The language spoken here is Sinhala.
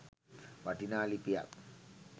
වටිනා ලිපියක්.